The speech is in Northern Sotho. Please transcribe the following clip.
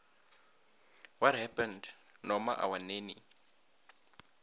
what happened norma our nanny